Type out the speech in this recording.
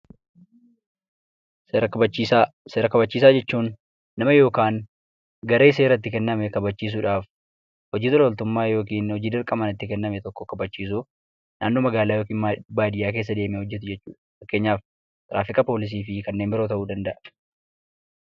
Seera kabachiisaa jechuun nama yookaan garee seeratti kenname kabachiisuudhaaf hojii tola ooltummaan yookiin hojii dirqamaan itti kenname tokko kabachiisuu naannoo magaalaa yookiin baadiyyaa keessa deemee hojjetu jechuudha. Fakkeenyaaf poolisii fi kanneen biroo ta'uu danda'a.